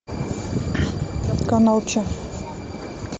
канал че